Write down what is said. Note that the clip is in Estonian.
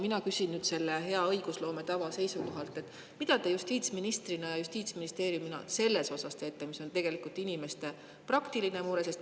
Mina küsin nüüd selle hea õigusloome tava seisukohalt: mida te justiitsministrina ja mida Justiitsministeerium selles osas teeb, mis on tegelikult inimeste praktiline mure?